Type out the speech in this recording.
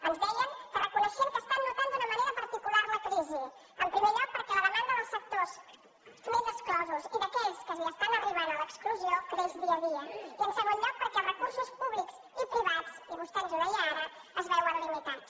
ens deien que reconeixien que noten d’una manera particular la crisi en primer lloc perquè la demanda dels sectors més exclosos i d’aquells que arriben a l’exclusió creix dia a dia i en segon lloc perquè els recursos públics i privats i vostè ens ho deia ara es veuen limitats